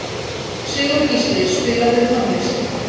Sigurgísli, spilaðu tónlist.